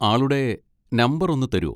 ആളുടെ നമ്പർ ഒന്ന് തരോ?